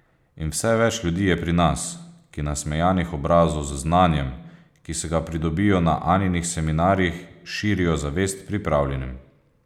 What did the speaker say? In vse več ljudi je pri nas, ki nasmejanih obrazov z znanjem, ki si ga pridobijo na Anjinih seminarjih, širijo zavest pripravljenim.